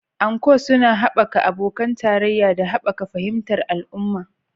Anko suna haɓaka abokan tarayya da haɓaka fahimtar al'umma